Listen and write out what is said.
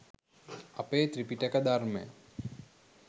අපේ ත්‍රිපිටක ධර්මය